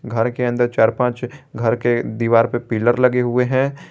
घर के अंदर चार पांच घर के दीवार पे पिलर लगे हुए है।